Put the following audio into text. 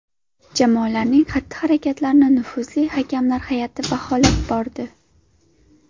Jamolarning xatti-harakatlarini nufuzli hakamlar hay’ati baholab bordi.